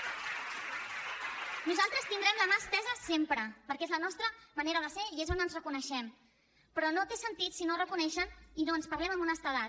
nosaltres tindrem la mà estesa sempre perquè és la nostra manera de ser i és on ens reconeixem però no té sentit si no ho reconeixen i no ens parlem amb honestedat